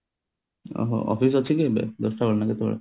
ଓହୋ office ଅଛି କି ଏବେ ଦଶ ଟା ବେଳେ ନା କେତେବେଳେ